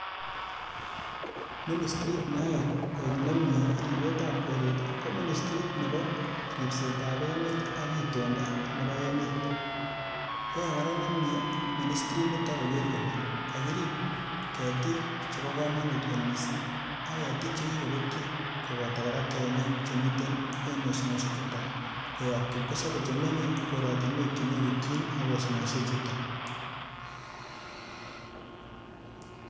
Ministirit niyae koek nemie ribetab koret ko nebo ribsetab emet ak itondo nebo emet. Yae kora nemiee ministirit nito koger kolee kakirip ketik chebo kamanut kot missing ak ketik chekikobetyo kobota kora tiong'ik che miten en osnosiek chuto koyap kipkosabei chemenyei koratinwek che nekityin ak osnosiechuto.